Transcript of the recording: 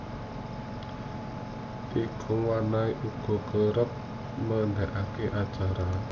Iga Mawarni uga kereb nganakake acara